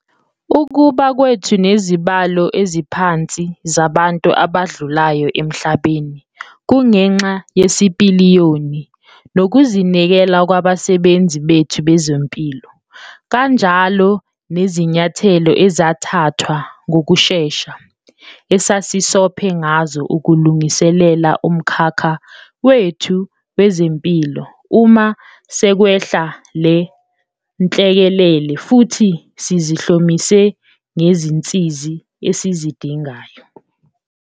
Ukuba kwethu nezibalo eziphansi zabantu abadlulayo emhlabeni kungenxa yesipiliyoni nokuzinikela kwabasebenzi bethu bezempilo kanjalo nezinyathelo ezathathwa ngokushesha esasisophe ngazo ukulungiselela umkhakha wethu wezempilo uma sekwehla le nhlekelele futhi sizihlomise ngezinsiza esizidingayo.